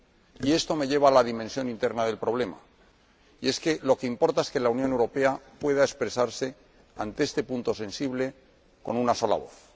Y esto me lleva a la dimensión interna del problema lo que importa es que la Unión Europea pueda expresarse ante este punto sensible con una sola voz.